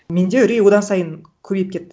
менде үрей одан сайын көбейіп кетті